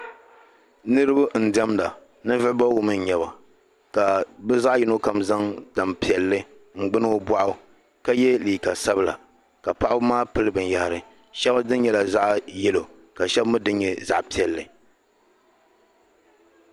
Niriba n-diɛmda. Ninvuɣ' bɔbigu mi n-nyɛ ba ka bɛ zaɣ' yino kam zaŋ tampiɛlli n-gbini o bɔɣu ka ye liika sabila ka paɣiba maa pili binyɛhari. Shɛba dini nyɛla zaɣ' yɛlo ka shɛba mi dini nyɛ zaɣ' piɛlli.